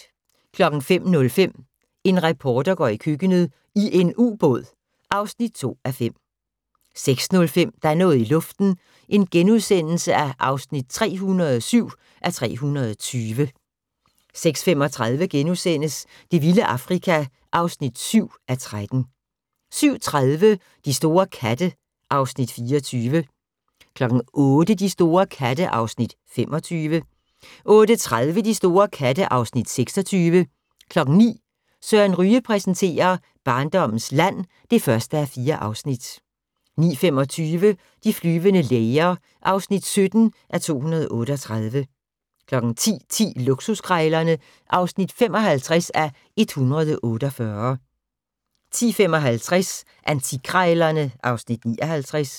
05:05: En reporter går i køkkenet - i en ubåd (2:5) 06:05: Der er noget i luften (307:320)* 06:35: Det vilde Afrika (7:13)* 07:30: De store katte (Afs. 24) 08:00: De store katte (Afs. 25) 08:30: De store katte (Afs. 26) 09:00: Søren Ryge præsenterer: Barndommens land (1:4) 09:25: De flyvende læger (17:238) 10:10: Luksuskrejlerne (55:148) 10:55: Antikkrejlerne (Afs. 59)